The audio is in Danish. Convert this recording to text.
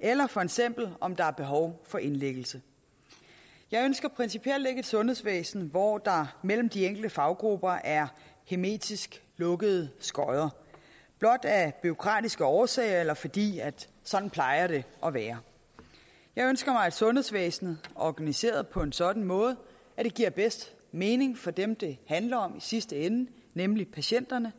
eller for eksempel om der er behov for indlæggelse jeg ønsker principielt ikke et sundhedsvæsen hvor der mellem de enkelte faggrupper er hermetisk lukkede skodder blot af bureaukratiske årsager eller fordi sådan plejer det at være jeg ønsker mig et sundhedsvæsen organiseret på en sådan måde at det giver bedst mening for dem det handler om i sidste ende nemlig patienterne